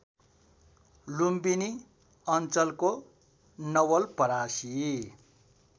लुम्बिनी अञ्चलको नवलपरासी